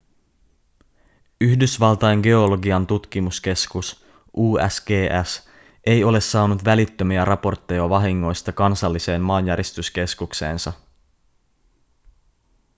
yhdysvaltain geologian tutkimuskeskus usgs ei ole saanut välittömiä raportteja vahingoista kansalliseen maanjäristyskeskukseensa